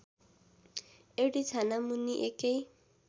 एउटै छानामुनि एकै